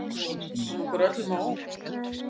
Þetta kom okkur öllum á óvart